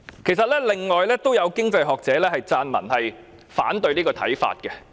事實上，已有經濟學者撰文反對這個看法。